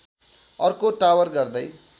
अर्को टावर गर्दै